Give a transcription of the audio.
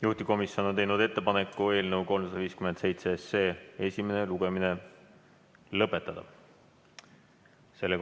Juhtivkomisjon on teinud ettepaneku eelnõu 357 esimene lugemine lõpetada.